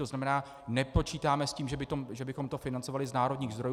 To znamená, nepočítáme s tím, že bychom to financovali z národních zdrojů.